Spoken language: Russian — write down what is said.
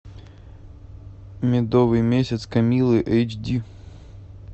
медовый месяц камиллы эйч ди